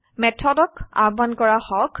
method ক আহ্বান কৰা হক